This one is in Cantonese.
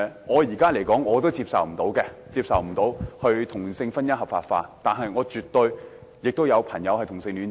我目前無法接受同性婚姻合法化，但我身邊也有朋友是同性戀者。